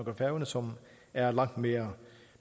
og færøerne som er langt mere